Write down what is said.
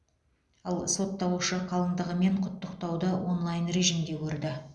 ал сотталушы қалындығы мен құттықтауды онлайн режимде көрді